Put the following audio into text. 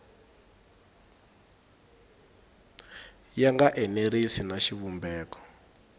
ya nga enerisi na xivumbeko